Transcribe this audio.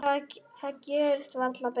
Það gerist varla betra.